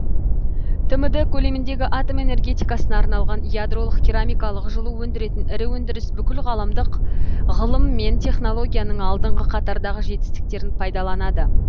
тмд көлеміндегі атом энергетикасына арналған ядролық керамикалық жылу өндіретін ірі өндіріс бүкілғаламдық ғылым мен технологияның алдыңғы қатардағы жетістіктерін пайдаланады